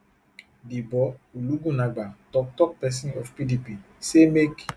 debo ologunagba toktok pesin of pdp say make